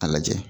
A lajɛ